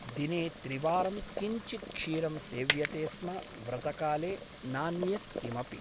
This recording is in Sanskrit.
दिने त्रिवारं किञ्चित् क्षीरं सेव्यते स्म व्रतकाले , नान्यत् किमपि ।